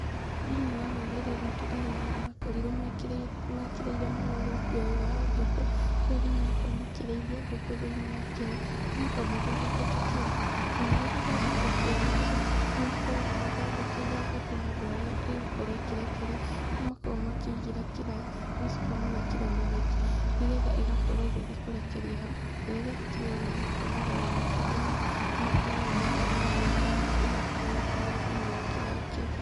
Thĩiniĩ wa rũrĩrĩ rwitũ arĩmi nĩ makorirwo mekĩrĩire mũno ũrĩithia ũyũ wa ngũkũ, kũrĩ arĩa marakorwo makĩrĩithia ngũkũ thĩiniĩ wa kĩaga, makoragwo mathondekete kĩaga, na marĩ gũthondeka kĩaga kĩu, nĩmakoragwo mathondekeire ngũkũ handũ harĩa ĩgũkorwo ĩkĩrekeria kũrĩa makoragwo makĩigĩra kĩraĩ , magacoka magekĩra manyeki, nĩgetha ĩgakorwo ĩgĩthiĩ kũrekeria hau, na rĩrĩa ya kinya ona gũkomerera matumbĩ mau , nĩmakoragwo makĩmĩigira hau ĩgakorwo ĩgĩkomera thĩiniĩ wa kĩraĩ kĩu.